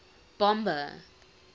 bomber